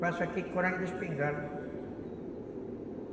Faço aqui de espingarda.